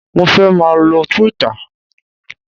Mo fẹ́ máà lo Twitter